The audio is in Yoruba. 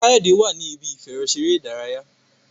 Kayode wá ní Ibi ìfẹ̀rọṣeré ìdárayá